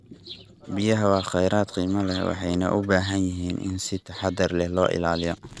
Biyaha waa khayraad qiimo leh, waxayna u baahan yihiin in si taxadar leh loo ilaaliyo.